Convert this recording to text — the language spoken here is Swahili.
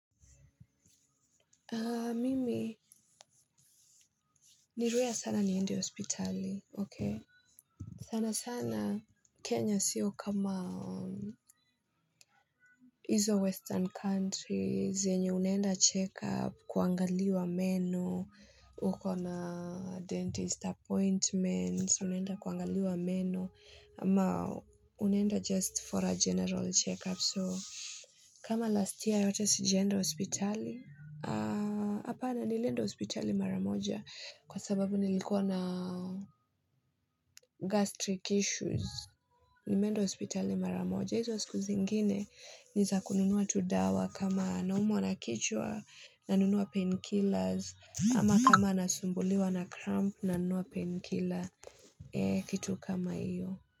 Mimi ni rare sana niende hospitali ok. Sana sana Kenya sio kama hizo western country zenye unaenda check up kuangaliwa meno. Uko na dentist appointments unaenda kuangaliwa meno ama unaenda just for a general check up so. Kama last year yote sijaenda hospitali. Hapana nilienda hospitali maramoja kwa sababu nilikuwa na gastric issues. Nimeenda hospitali mara moja. Hizo siku zingine nizakununua tu dawa kama naumwa na kichwa nanunua painkillers. Ama kama nasumbuliwa na cramp na nunua painkillers. Kitu kama hiyo.